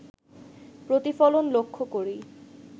প্রতিফলন লক্ষ করি